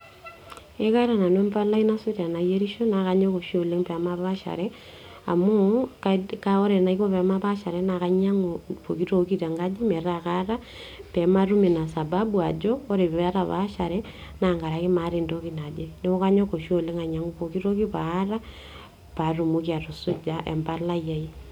Ee kaata nanu embalai nasuj tanayierisho, nakanyor oshi oleng pamapaaashare amu, ore anaiko pamapaaashare ,na kainyangu pooki toki metaa kaata pematum ina sababu ajo ore patapaashare na tenkaraki maata entoki naje ,neaku kanyok oshi oleng ainyangu pooki toki peaku kaata paatumoki atusuja empalai aai.